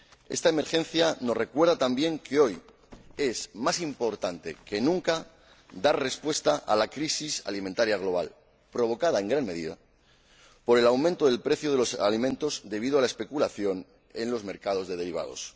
Esta emergencia nos recuerda también que hoy es más importante que nunca dar respuesta a la crisis alimentaria global, provocada en gran medida por el aumento del precio de los alimentos debido a la especulación en los mercados de derivados.